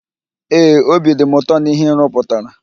Ee, obi dị m ụtọ na íhé ị rụputara.